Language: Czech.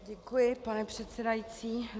Děkuji, pane předsedající.